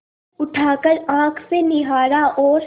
उठाकर आँख से निहारा और